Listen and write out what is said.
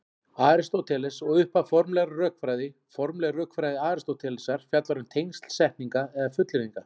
Aristóteles og upphaf formlegrar rökfræði Formleg rökfræði Aristótelesar fjallar um tengsl setninga eða fullyrðinga.